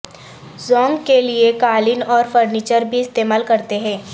زونگ کے لئے قالین اور فرنیچر بھی استعمال کرتے ہیں